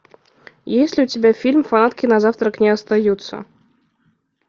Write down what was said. есть ли у тебя фильм фанатки на завтрак не остаются